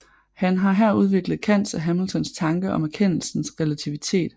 Han har her udviklet Kants og Hamiltons tanke om erkendelsens relativitet